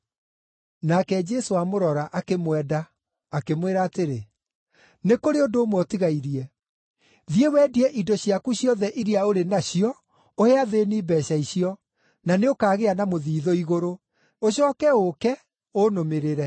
Nake Jesũ amũrora, akĩmwenda, akĩmwĩra atĩrĩ, “Nĩ kũrĩ ũndũ ũmwe ũtigairie: Thiĩ wendie indo ciaku ciothe iria ũrĩ nacio ũhe athĩĩni mbeeca icio, na nĩũkagĩa na mũthithũ igũrũ. Ũcooke ũũke, ũnũmĩrĩre.”